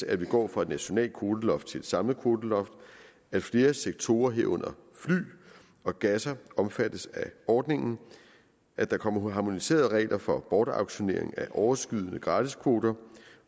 at vi går fra et nationalt kvoteloft til et samlet kvoteloft at flere sektorer herunder fly og gasser omfattes af ordningen at der kommer harmoniserede regler for bortauktionering af overskydende gratiskvoter